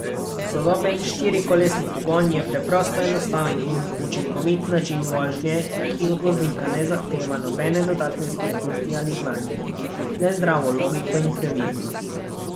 Sodoben štirikolesni pogon je preprosto enostaven in učinkovit način vožnje, ki od voznika ne zahteva nobene dodatne spretnosti ali znanja, le zdravo logiko in previdnost.